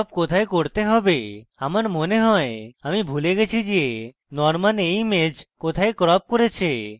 crop কোথায় করতে হবে আমার মনে হয় আমি ভুলে গেছি যে norman এই image কোথায় crop করেছে